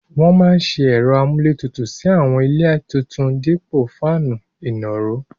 Wọ́n máa se ẹ̀rọ amúlétutù sí àwọn ilé tuntun dípò fáànù ìnàró.